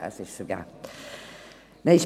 Es ist vergeben.